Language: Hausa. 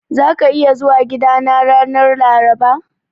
Zaka iya zuwa gidana ranar Laraba?